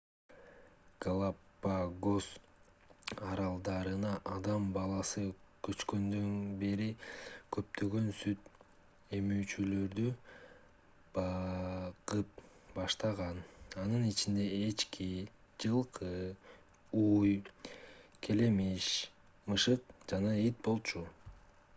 галапагос аралдарына адам баласы көчкөндөн бери көптөгөн сүт эмүүчүлөрдү багып баштаган анын ичинде эчки жылкы уй келемиш мышык жана ит болчу